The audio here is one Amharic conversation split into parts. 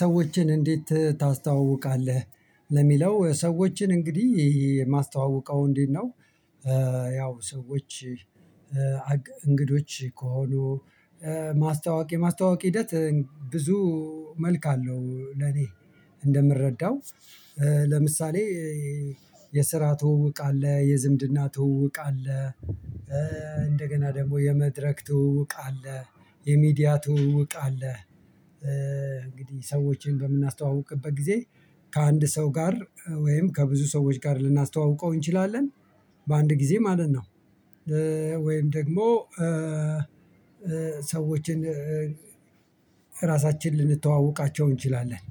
ሰዎችን እንዴት ታስተዋውቃለህ? ለሚለው ሰዎችን እንግዲህ የማስተዋውቀው እንዴት ነው? ያው ሰዎች እንግዶች ከሆኑ የማስተዋወቅ ሂደት ብዙ መልክ አለው። ለኔ። እንደምረዳው ለምሳሌ የስራ ትውውቅ አለ የዝምድና ትውውቅ አለ። ደግሞ የመድረክ ትውውቅ አለ የሚዲያ ትውውቅ አለ። እንግዲህ ሰዎችን በምናስተዋውቅበት ጊዜ ከአንድ ሰው ጋር ወይም ከብዙ ሰዎች ጋር ልናስተዋውቀው እንችላለን። በአንድ ጊዜ ማለት ነው። ወይም ደግሞ ሰዎችን ራሳችን ልንተዋወቃቸው እንችላለን።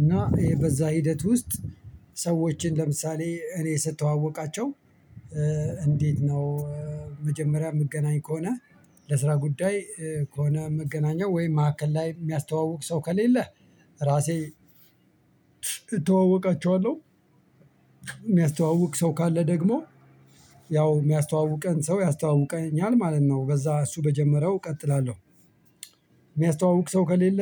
እና በዛ ሂደት ውስጥ ሰዎችን ለምሳሌ እኔ ስተዋወቃቸው እንዴት ነው? መጀመሪያ ምገናኝ ከሆነ ለስራ ጉዳይ ከሆነ የምገናኘው ወይም መሀከል ላይ የሚያስተዋውቅ ሰው ከሌለ ራሴ እተዋወቃቸዋለሁ። የሚያስተዋውቅ ሰው ካለ ደግሞ ያው የሚያስተዋውቀን ሰው ያስተዋውቀኛል ማለት ነው በዛ እሱ በጀመረው እቀጥላለሁ። የሚያስተዋውቅ ሰው ከሌለ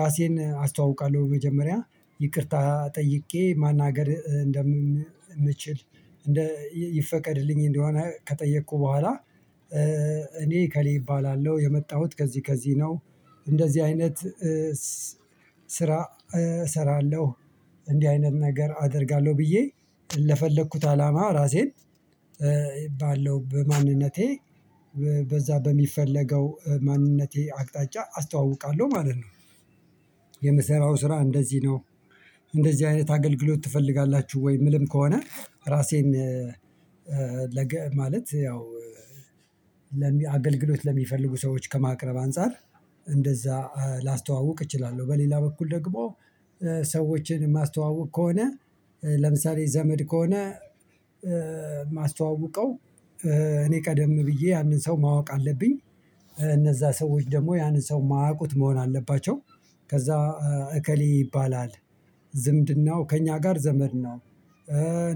ራሴን አስተዋውቃለሁ መጀመሪያ ይቅርታ ጠይቄ ማናገር እንደምችል ይፈቀድልኝ እንደሆነ ከጠየቅኩ በኋላ እኔ እከሌ እባላለሁ የመጣሁት ከዚህ ከዚህ ነው። እንደዚህ አይነት ስራ እሰራለሁ። እንዲህ አይነት ነገር አደርጋለሁ ብዬ ለፈለኩት አላማ ራሴን ባለው በማንነቴ በዛ በሚፈለገው ማንነቴ አቅጣጫ አስተዋውቃለሁ ማለት ነው። የምሰራው ስራ እንደዚህ ነው። እንደዚህ አይነት አገልግሎት ትፈልጋላችሁ ወይ የምልም ከሆነ? ራሴን ማለት ያው አገልግሎት ለሚፈልጉ ሰዎች ከማቅረብ አንፃር እንደዛ ላስተዋውቅ እችላለሁ። በሌላ በኩል ደግሞ ሰዎችን የማስተዋውቅ ከሆነ ለምሳሌ ዘመድ ከሆነ የማስተዋውቀው እኔ ቀደም ብዬ ያንን ሰው ማወቅ አለብኝ። እነዛ ሰዎች ደግሞ ያንን ሰው ማያውቁት መሆን አለባቸው። ከዛ እከሌ ይባላል ዝምድናው ከእኛ ጋር ዘመድ ነው።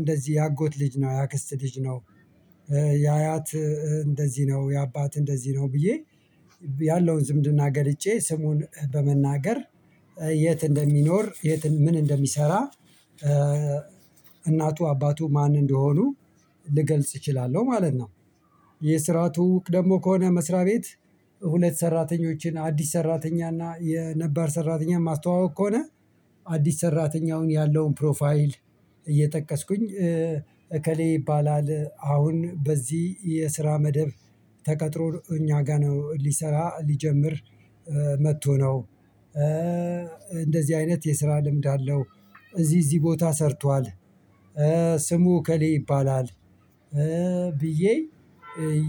እንደዚህ የአጎት ልጅ ነው የአክስት ልጅ የአያት እንደዚህ ነው የአባት እንደዚህ ነው ብዬ ያለውን ዝምድና ገልጬ ስሙን በመናገር። የት እንደሚኖር ምን እንደሚሰራ እናቱ አባቱ ማን እንደሆኑ ልገልጽ እችላለሁ ማለት ነው። የስራ ትውውቅ ደግሞ ከሆነ መስሪያ ቤት ሁለት ሰራተኞችን አዲስ ሰራተኛ እና የነባር ሰራተኛ ማስተዋውቅ ከሆነ አዲስ ሰራተኛውን ያለውን ፕሮፋይል እየጠቀስኩኝ እከሌ ይባላል አሁን በዚህ የስራ መደብ ተቀጥሮ እኛ ጋር ነው ሊሰራ ሊጀምር መጥቶ ነው። እንደዚህ አይነት የስራ ልምድ አለው። እዚህ እዚህ ቦታ ሰርቷል። ስሙ እከሌ ይባላል። ብዬ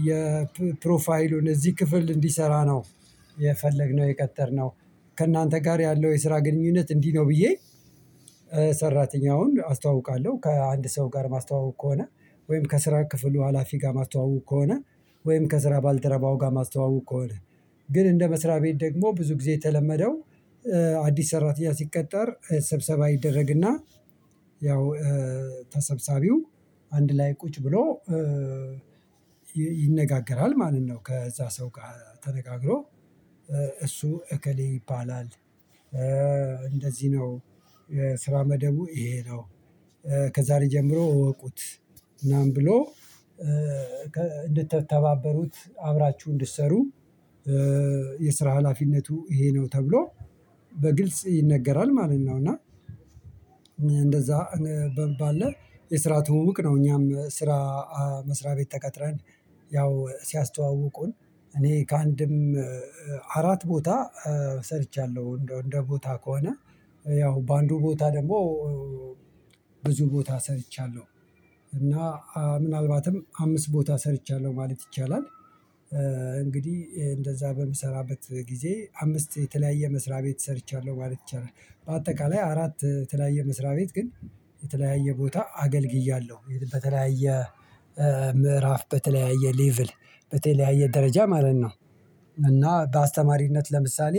የፕሮፋይሉን እዚህ ክፍል እንዲሰራ ነው የፈለግነው የቀጠርነው ከእናንተ ጋር ያለው የስራ ግንኙነት እንዲህ ነው ብዬ ሰራተኛውን አስተዋውቃለሁ። ከአንድ ሰው ጋር ማስተዋውቅ ከሆነ ወይም ከስራ ክፍሉ ሀላፊ ጋር ማስተዋውቅ ከሆነ ወይም ከስራ ባልደረባው ጋር ማስተዋውቅ ከሆነ ግን እንደ መስሪያ ቤት ደግሞ ብዙ ጊዜ የተለመደው አዲስ ሰራተኛ ሲቀጠር ስብሰባ ይደረግና። ያው ተሰብሳቢው አንድ ላይ ቁጭ ብሎ ይነጋገራል ማለት ነው። ከዛ ሰው ጋር ተነጋግሮ። እሱ እከሌ ይባላል። እንደዚህ ነው ስራ መደቡ ይሄ ነው። ከዛሬ ጀምሮ እወቁት ምናምን ብሎ እንድትተባበሩት አብራችሁ እንድትሰሩ። የስራ ሀላፊነቱ ይሄ ነው ተብሎ በግልጽ ይነገራል ማለት ነው። እና እንደዛ ባለ የስራ ትውውቅ ነው። እኛም ስራ መስሪያ ቤት ተቀጥረን ያው ሲያስተዋውቁን እኔ ከአንድም አራት ቦታ ሰርቻለሁ። እንደ ቦታ ከሆነ ያው በአንዱ ቦታ ደግሞ ብዙ ቦታ ሰርቻለሁ እና ምናልባትም አምስት ቦታ ሰርቻለሁ ማለት ይቻላል። እንግዲህ እንደዛ በምሰራበት ጊዜ አምስት የተለያየ መስሪያ ቤት ሰርቻለሁ ማለት ይቻላል። በአጠቃላይ አራት የተለያየ መስሪያ ቤት ግን የተለያየ ቦታ አገልግያለሁ በተለያየ ምዕራፍ በተለያየ ሌቭል በተለያየ ደረጃ ማለት ነው። እና በአስተማሪነት ለምሳሌ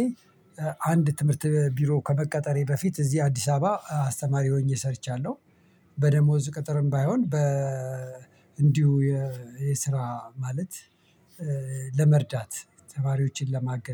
አንድ ትምህርት ቢሮ ከመቀጠሬ በፊት እዚህ አዲስ አበባ አስተማሪ ሆኜ ሰርቻለሁ። በደሞዝ ቅጥርም ባይሆን እንዲሁ የስራ ማለት ለመርዳት ተማሪዎችን ለማገዝ